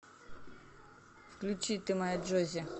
включи ты моя джоззи